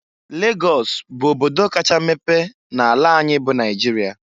Lagọs bụ obodo kacha mepe n'ala anyị bụ Naịjịrịa.